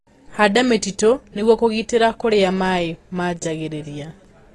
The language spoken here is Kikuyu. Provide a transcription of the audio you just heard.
Handa mĩtitũ nĩguo kũgitĩra kũria maĩ maanjagĩrĩria.